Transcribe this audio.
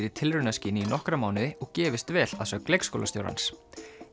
í tilraunaskyni í nokkra mánuði og gefist vel að sögn leikskólastjórans